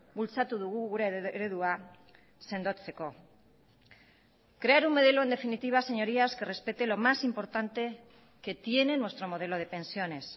bultzatu dugu gure eredua sendotzeko crear un modelo en definitiva señorías que respete lo más importante que tiene nuestro modelo de pensiones